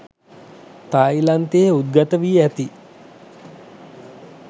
තායිලන්තයේ උද්ගත වී ඇති